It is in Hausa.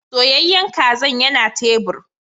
Soyayyen kazan yana tebur.